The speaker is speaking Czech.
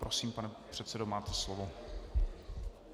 Prosím, pane předsedo, máte slovo.